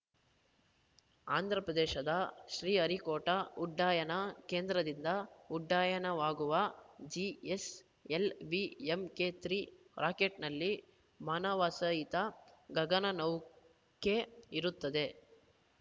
ಆಂಧ್ರಪ್ರದೇಶದ ಶ್ರೀಹರಿಕೋಟಾ ಉಡ್ಡಯನ ಕೇಂದ್ರದಿಂದ ಉಡ್ಡಯನವಾಗುವ ಜಿಎಸ್‌ಎಲ್‌ವಿ ಎಂಕೆ ಮೂರು ರಾಕೆಟ್‌ನಲ್ಲಿ ಮಾನವಸಹಿತ ಗಗನನೌಕೆ ಇರುತ್ತದೆ